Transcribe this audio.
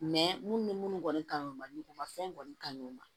minnu bɛ minnu kɔni kanu mago ma fɛn kɔni ka ɲi o ma